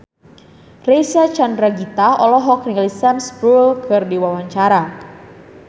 Reysa Chandragitta olohok ningali Sam Spruell keur diwawancara